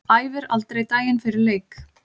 Æfir aldrei daginn fyrir leik.